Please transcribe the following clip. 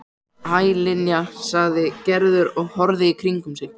Hæ, Linja sagði Gerður og horfði í kringum sig.